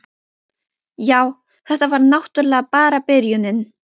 Já, þetta var náttúrlega bara byrjunin.